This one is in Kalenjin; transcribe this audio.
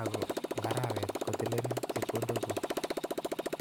AK kotilenin chopkondo kuk.